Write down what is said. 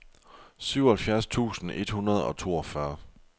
syvoghalvfjerds tusind et hundrede og toogfyrre